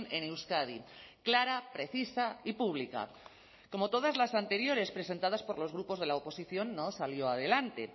en euskadi clara precisa y pública como todas las anteriores presentadas por los grupos de la oposición no salió adelante